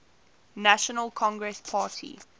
national congress party